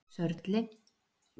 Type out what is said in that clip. Sörli